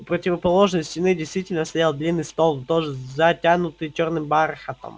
у противоположной стены действительно стоял длинный стол тоже затянутый чёрным бархатом